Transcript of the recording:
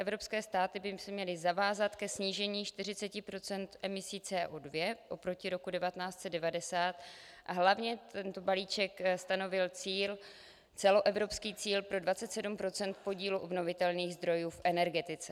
Evropské státy by se měly zavázat ke snížení 40 % emisí Cu2 oproti roku 1990 a hlavně tento balíček stanovil celoevropský cíl pro 27 % podílu obnovitelných zdrojů v energetice.